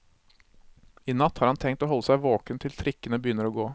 I natt har han tenkt å holde seg våken til trikkene begynner å gå.